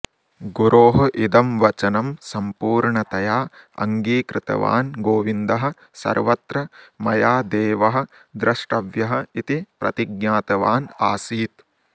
गुरोः इदं वचनं सम्पूर्णतया अङ्गीकृतवान् गोविन्दः सर्वत्र मया देवः द्रष्टव्यः इति प्रतिज्ञातवान् आसीत्